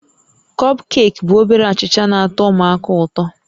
Kọpkeeki bụ obere achịcha na-atọ ụmụaka ụtọ